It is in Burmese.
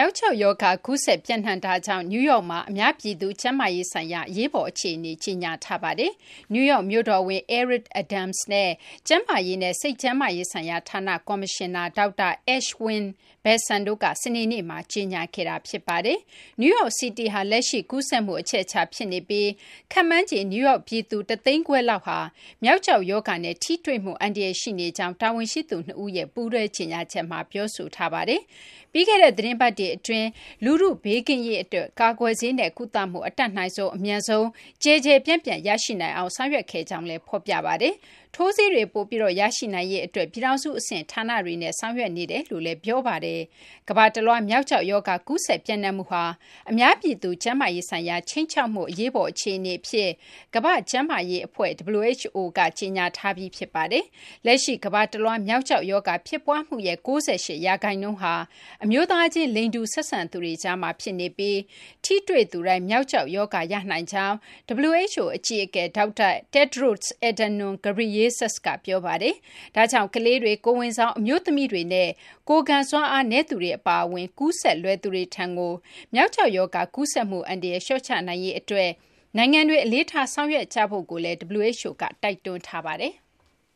ောက်ကျောက်ရောဂါ ကူးစက် ပျံ့နှံ့မှုကြောင့် နယူးယောက်မှာ အများပြည်သူ ကျန်းမာရေးဆိုင်ရာ အရေးပေါ်အခြေအနေ ကြေညာထားပါတယ်။ နယူးယောက် မြို့တော်ဝန် Eric Adams နဲ့ ကျန်းမာရေးနဲ့ စိတ်ကျန်းမာရေးဆိုင်ရာဌာန ကော်မရှင်နာ ဒေါက်တာ Ashwin Vasan တို့က စနေနေ့မှာ ကြေညာခဲ့တာပါ။ New York City ဟာ လက်ရှိ ကူးစက်မှု အချက်အချာ ဖြစ်နေပြီး ခန့်မှန်းခြေ နယူးယောက် ပြည်သူ ၁၅၀,၀၀၀ လောက်ဟာ မျောက်ကျောက် ရောဂါနဲ့ ထိတွေ့မှု အန္တရာယ် ရှိနေကြောင်း တာဝန်ရှိသူ ၂ ဦးက ပူးတွဲကြေညာချက်မှာ ပြောဆိုထားပါတယ်။ ပြီးခဲ့တဲ့ သီတင်းပတ်တွေ အတွင်းမှာ လူထု ဘေးကင်းရေး အတွက် ကာကွယ်ဆေးနဲ့ ကုသမှု အတတ်နိုင်ဆုံး အမြန်ဆုံး ကျယ်ကျယ်ပြန့်ပြန့် ရရှိနိုင်အောင် ဆောင်ရွက်ခဲ့ကြောင်းလည်း ဖော်ပြပါတယ်။ ထိုးဆေးတွေ ပိုပြီး ရရှိနိုင်ရေး အတွက်လည်း ပြည်ထောင်စု အဆင့် ဌာနတွေနဲ့ ဆောင်ရွက်နေကြောင်း ဖော်ပြပါတယ်။ ကမ ္ဘာတလွှား မျောက်ကျောက် ရောဂါ ကူးစက် ပျံ့နှံ့မှုဟာ အများပြည်သူ ကျန်းမာရေးဆိုင်ရာ ခြိမ်းခြောက်မှု အရေးပေါ် အခြေအနေ အဖြစ် ကမ ္ဘာ့ကျန်းမာရေး အဖွဲ့ WHO က ကြေညာထားပြီး ဖြစ်ပါတယ်။ လက်ရှိ ကမ္ဘာတလွှား မျောက်ကျောက် ရောဂါ ဖြစ်ပွားမှုရဲ့ ၉၈ ရာခိုင်နှုန်းဟာ အမျိုးသားချင်း လိင်တူ ဆက်ဆံသူတွေကြားမှာ ဖြစ်နေပြီး ထိတွေ့ သူတိုင်း မျောက်ကျောက် ရောဂါ ရနိုင်ကြောင်း WHO အကြီးအကဲ ဒေါက်တာ Tedros Adhanom Ghebreyesus က ပြောပါတယ်။ ဒါကြောင့် ကလေးတွေ၊ ကိုယ်ဝန်ဆောင် အမျိုးသမီးတွေနဲ့ ကိုယ်ခံစွမ်းအားနည်းသူတွေ အပါအဝင် ကူးစက်လွယ်သူတွေထံကို မျောက်ကျောက် ရောဂါ ကူးစက်မှု အန္တရာယ် လျှော့ချနိုင်ရေး အတွက် နိုင်ငံတွေ အလေးထား ဆောင်ရွက်ကြဖို့လည်း WHO က တိုက်တွန်းထားပါတယ်။